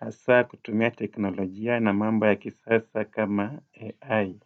Hasa kutumia teknolojia na mambo ya kisasa kama AI.